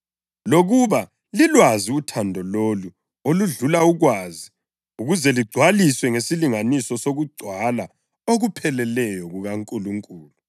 lokuba lilwazi uthando lolu oludlula ukwazi ukuze ligcwaliswe ngesilinganiso sokugcwala okupheleleyo kukaNkulunkulu.